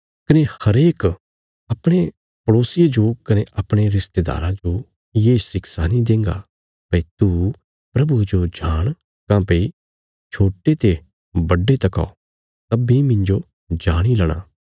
कने हरेक अपणे पड़ोसिये जो कने अपणे रिश्तेदारा जो ये शिक्षा नीं देंगा भई तू प्रभुये जो जाण काँह्भई छोट्टे ते बड्डे तकौ सब्बीं मिन्जो जाणी लेणा